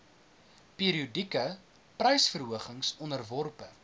periodieke prysverhogings onderworpe